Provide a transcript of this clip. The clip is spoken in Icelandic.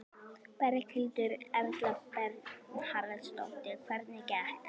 Berghildur Erla Bernharðsdóttir: Hvernig gekk?